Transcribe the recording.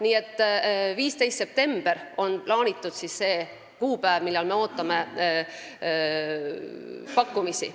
15. september on plaanitud selleks kuupäevaks, millal me ootame pakkumisi.